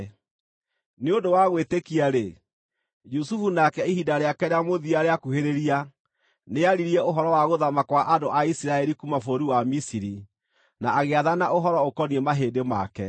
Nĩ ũndũ wa gwĩtĩkia-rĩ, Jusufu, nake, ihinda rĩake rĩa mũthia rĩakuhĩrĩria, nĩaririe ũhoro wa gũthaama kwa andũ a Isiraeli kuuma bũrũri wa Misiri, na agĩathana ũhoro ũkoniĩ mahĩndĩ make.